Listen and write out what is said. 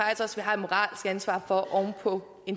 har et moralsk ansvar for oven på